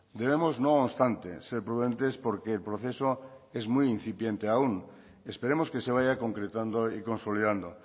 debemos no obstante ser prudentes porque el proceso es muy incipiente aún esperemos que se vaya concretando y consolidando